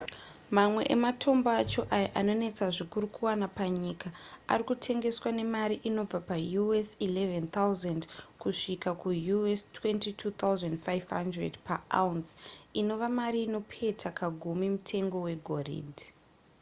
mamwe ematombo acho ayo anonetsa zvikuru kuwana panyika ari kutengeswa nemari inobva paus$11 000 kusvika kuus$22 500 pa-ounce inova mari inopeta kagumi mutengo wegoridhe